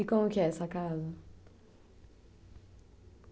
E como que é essa casa?